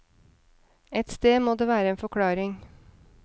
Et sted må det være en forklaring.